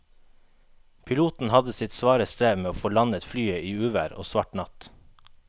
Piloten hadde sitt svare strev med å få landet flyet i uvær og svart natt.